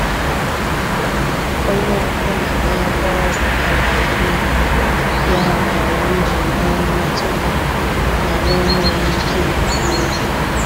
Onye ọbụla n'ebe ọrụ alaghị n'oge, ya mere m ji nwee mmetụta na m enweghị ike ịpụ n'oge.